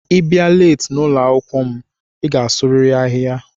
Ibia leeti n'ụlọakwụkwọ m i ga-asuriri ahịhịa.